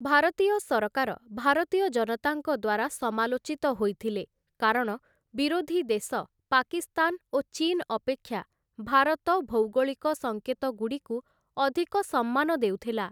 ଭାରତୀୟ ସରକାର ଭାରତୀୟ ଜନତାଙ୍କ ଦ୍ୱାରା ସମାଲୋଚିତ ହୋଇଥିଲେ, କାରଣ ବିରୋଧୀ ଦେଶ ପାକିସ୍ଥାନ ଓ ଚୀନ ଅପେକ୍ଷା ଭାରତ ଭୌଗୋଳିକ ସଙ୍କେତଗୁଡ଼ିକୁ ଅଧିକ ସମ୍ମାନ ଦେଉଥିଲା ।